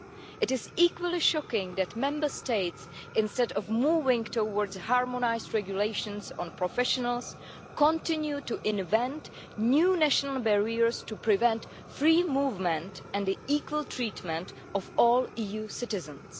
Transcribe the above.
It is equally shocking that Member States, instead of moving towards harmonised regulations on professionals, continue to invent new national barriers to prevent free movement and the equal treatment of all EU citizens.